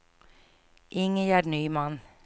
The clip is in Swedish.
Ingegärd Nyman